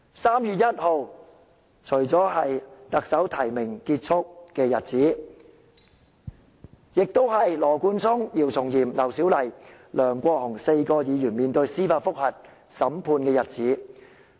3月1日，除了是特首提名期結束的日子，亦是羅冠聰議員、姚松炎議員、劉小麗議員和梁國雄議員4名議員司法覆核案件聆訊的日子。